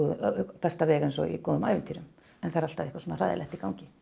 besta veg eins og í góðum ævintýrum en það er alltaf eitthvað hræðilegt í gangi